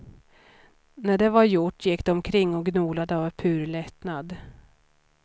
När det var gjort gick de omkring och gnolade av pur lättnad.